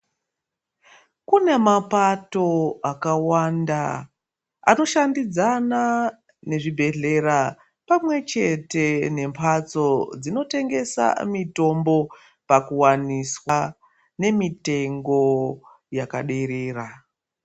Kune mapato akawanda anoshandidzana nezvibhedhlera pamwe chete nemphatso dzinotengesa mitombo pakuwanisa nemitengo yakaderera.